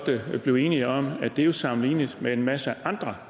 blive enige om at det jo er sammenligneligt med en masse andre